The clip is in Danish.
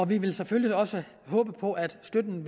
vi vil selvfølgelig også håbe på at støtten